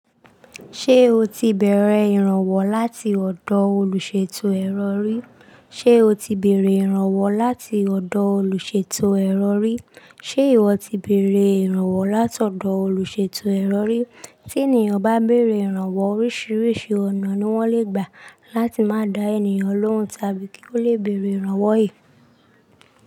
Ṣé o ti bẹ̀rẹ̀ ìrànwọ́ láti ọ̀dọ̀ olùṣètò ẹ̀rọ rí? Ṣé o ti bẹ̀rẹ̀ ìrànwọ́ láti ọ̀dọ̀ olùṣètò ẹ̀rọ rí? Ṣé ìwọ ti bẹ̀rẹ̀ ìrànwọ́ láti ọ̀dọ̀ olùṣètò ẹ̀rọ rí? Tí ènìyàn bá bẹ̀rẹ̀ ìrànwọ́, oríṣiríṣi ọ̀nà ni wọ́n lè gbà láti má da ènìyàn lóhùn tàbí kí ó lè bẹ̀rẹ̀ ìrànwọ́ è.